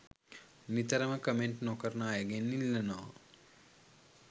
නිතරම කමෙන්ට් නොකරන අයගෙන් ඉල්ලනවා